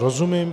Rozumím.